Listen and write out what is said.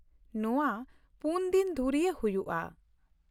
ᱱᱚᱶᱟ ᱯᱩᱱ ᱫᱤᱱ ᱫᱷᱩᱨᱭᱟᱹ ᱦᱩᱭᱩᱜᱼᱟ ᱾